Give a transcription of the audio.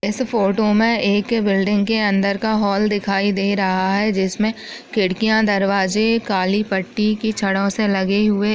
इस फोटो मे एक बिल्डिंग के अंदर का हॉल दिखाई दे रहा है जिसमे खिड़कियां दरवाजे काली पट्टी की छड़ों से लगे हुए।